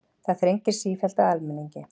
Það þrengir sífellt að almenningi